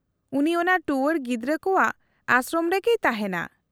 -ᱩᱱᱤ ᱚᱱᱟ ᱴᱩᱣᱟᱹᱨ ᱜᱤᱫᱽᱨᱟᱹ ᱠᱚᱣᱟᱜ ᱟᱥᱨᱚᱢ ᱨᱮᱜᱮᱭ ᱛᱟᱦᱮᱱᱟ ᱾